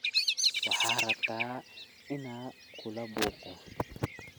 Waxad rabtaa ina kulabuuqo.